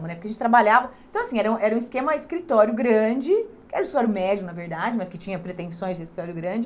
Bom né Porque a gente trabalhava... Então, assim, era um era um esquema escritório grande, que era escritório médio, na verdade, mas que tinha pretensões de escritório grande.